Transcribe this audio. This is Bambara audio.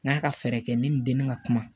N k'a ka fɛɛrɛ kɛ ni nin den bɛ ka kuma